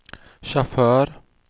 chaufför